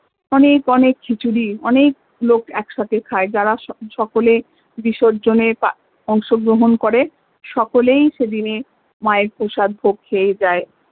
অনেক অনেক খিচুড়ি অনেক লোক এক সাথে খায় যারা সকলে বিসর্জনে অংশগ্রহণ করে সকলেই সেদিন যে মা এর প্রসাদ ভোগ খেয়ে যায়